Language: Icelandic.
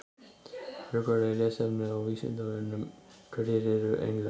Frekara lesefni á Vísindavefnum: Hverjir eru englar?